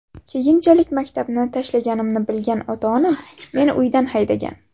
Keyinchalik maktabni tashlaganimni bilgan ota-onam meni uydan haydagan.